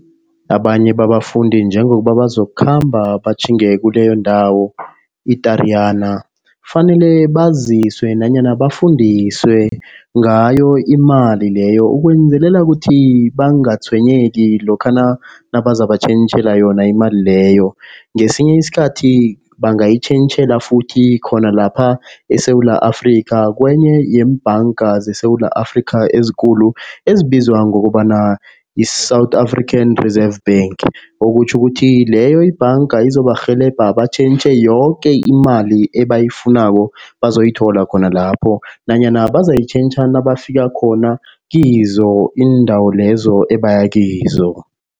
Abanye babafundi njengokuba bazokukhamba batjhinge kileyo ndawo i-Tariyana. Kufanele baziswe nanyana bafundiswe ngayo imali leyo ukwenzelela ukuthi bangatshwenyeki lokha nabazabatjhentjhela yona imali leyo. Ngesinye isikhathi bangayitjhentjhela futhi khona lapha eSewula Afrika. Kwenye yeembanga zeSewula Afrika ezikulu ezibizwa ngokobana yi-South African Reserve Bank. Okutjho ukuthi leyo ibhanga izobarhelebha batjhentjhe yoke imali ebayifunako bazozithola khona lapho nanyana bazayitjhentjha nabafika khona kizo iindawo lezo ebaya kizo.